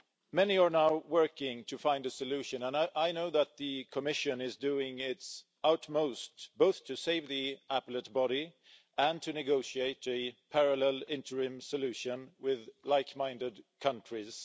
Many are now working to find a solution, and I know that the Commission is doing its utmost both to save the Appellate Body and to negotiate a parallel interim solution with like-minded countries.